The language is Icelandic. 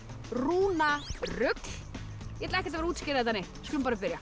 rúnarugl ég ætla ekkert að útskýra þetta neitt við skulum bara byrja